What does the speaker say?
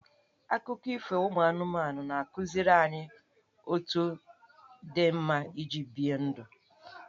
Akụkọ ifo ụmụ anụmanụ na-akụziri anyị otu dị mma iji bie ndụ.